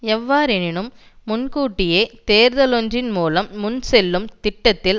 எவ்வாறெனினும் முன் கூட்டிய தேர்தலொன்றின் மூலம் முன் செல்லும் திட்டத்தில்